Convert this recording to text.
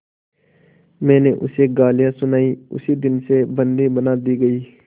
मैंने उसे गालियाँ सुनाई उसी दिन से बंदी बना दी गई